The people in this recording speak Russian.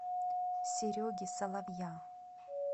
сереги соловья